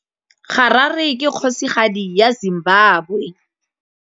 Harare ke kgosigadi ya Zimbabwe.